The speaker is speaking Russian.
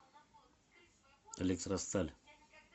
электросталь